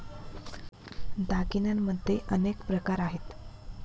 दागिन्यांमध्ये अनेक प्रकार आहेत